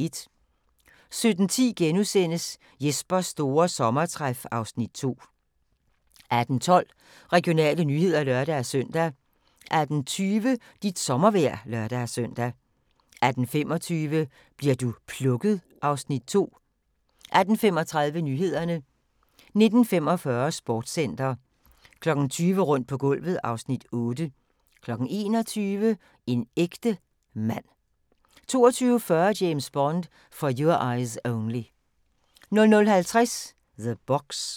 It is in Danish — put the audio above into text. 17:10: Jespers store sommertræf (Afs. 2)* 18:12: Regionale nyheder (lør-søn) 18:20: Dit sommervejr (lør-søn) 18:25: Bli'r du plukket? (Afs. 2) 18:35: Nyhederne 19:45: Sportscenter 20:00: Rundt på gulvet (Afs. 8) 21:00: En ægte mand 22:40: James Bond: For Your Eyes Only 00:50: The Box